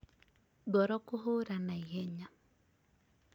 ngoro kũhũra naihenya